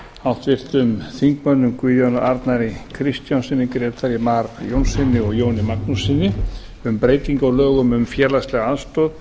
háttvirtum þingmanni guðjóni a kristjánsson grétari mar jónsson og jóni magnússon um breytingu á lögum um félagslega aðstoð